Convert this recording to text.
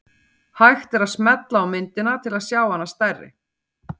Hægt er að smella á myndina til að sjá hana stærri.